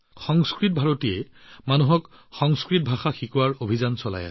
সংস্কৃত ভাৰতীয়ে ৰাইজক সংস্কৃত শিকোৱাৰ বাবে এক অভিযান চলায়